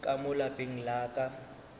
ka mo lapeng la ka